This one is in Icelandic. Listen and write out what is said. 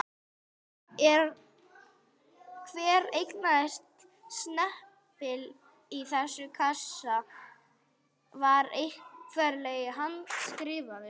Hver einasti snepill í þessum kassa var nefnilega handskrifaður.